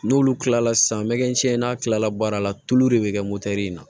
N'olu kilala san mɛ kɛ n'a kilala baara la tulu de be kɛ in na